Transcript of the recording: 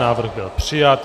Návrh byl přijat.